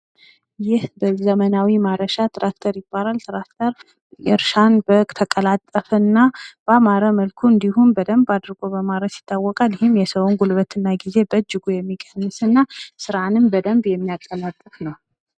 ይህ በዘመናዊ ማረሻ ትራክተር ይባላል፡፡ ትራክተር እርሻን በተቀላጠፈ እና ባማረ መልኩ እንዲሁም በደምብ አርጎ በማረስ ይታወቃል፡፡ ይህም የሰውን ጉልበት እና ጊዜ በእጅጉ የሚቀንስ እና ስራንም በደምብ የሚያቀላጥፍ ነው፡፡